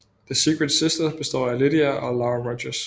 The Secret Sisters består af Lydia og Laura Rogers